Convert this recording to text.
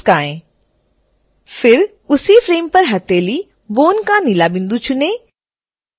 फिर उसी फ्रेम पर हथेली bone का नीला बिंदु चुनें